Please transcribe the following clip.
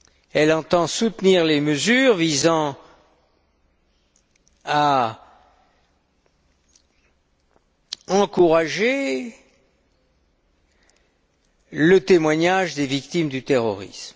Elle entend soutenir les mesures visant à encourager les témoignages de victimes du terrorisme.